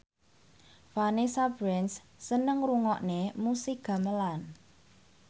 Vanessa Branch seneng ngrungokne musik gamelan